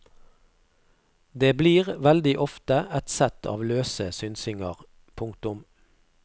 Det blir veldig ofte et sett av løse synsinger. punktum